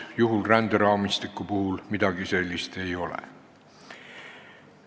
Ränderaamistiku puhul midagi sellist ei ole.